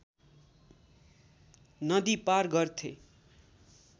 नदी पार गर्थे